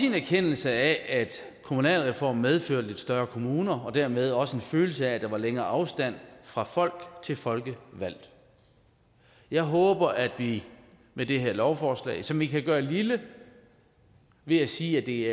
en erkendelse af at kommunalreformen medførte lidt større kommuner og dermed også en følelse af at der var længere afstand fra folk til folkevalgt jeg håber at vi med det her lovforslag som vi kan gøre lille ved at sige at det